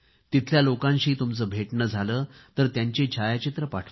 तिथल्या लोकांशी तुमचे भेटणे झाले तर त्यांची छायाचित्रे पाठवा